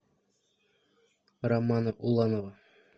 романа уланова